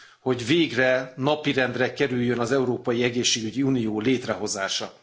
hogy végre napirendre kerüljön az európai egészségügyi unió létrehozása.